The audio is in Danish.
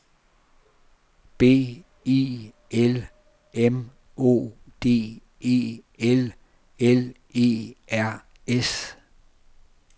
B I L M O D E L L E R S